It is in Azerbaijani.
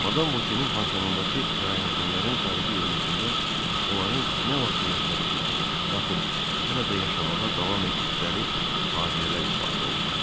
Madam Vokenin panisundakı kirayəşinlərin xarici görünüşündə onların nə vaxtsa yaşadıqları, yaxud hələ də yaşamağa davam etdikləri faciələr ifadə olunurdu.